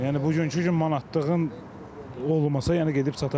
Yəni bugünkü gün manatlığın olmasa, yəni gedib çata bilmirik də.